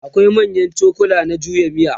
akwai manyan cokula na juya miya